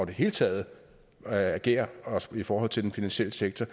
det hele taget agerer også i forhold til den finansielle sektor